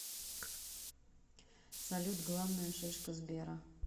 салют главная шишка сбера